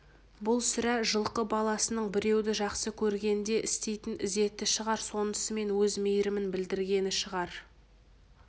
бұл сірә жылқы баласының біреуді жақсы көргенде істейтін ізеті шығар сонысымен өз мейірімін білдіргені шығар